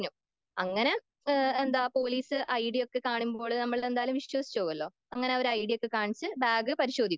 അങ്ങനെ എന്താ പോലീസ് ഐഡിയോക്കെ കാണുമ്പോള് നമ്മള് വിശ്വസിച്ച് പോകല്ലോ.അങ്ങനെ അവര് ഐഡിയോക്കെ കാണിച്ച് ബാഗ് പരിശോധിക്കും.